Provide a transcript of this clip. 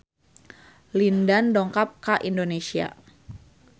Lin Dan dongkap ka Indonesia